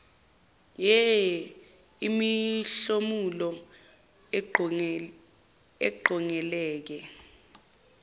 ee imihlomulo eqongeleke